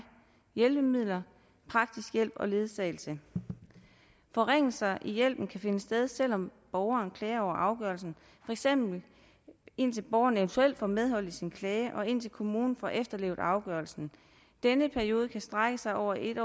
hjælpemidler praktisk hjælp og ledsagelse forringelser i hjælpen kan finde sted selv om borgeren klager over afgørelsen for eksempel indtil borgeren eventuelt får medhold i sin klage og indtil kommunen får efterlevet afgørelsen denne periode kan strække sig over et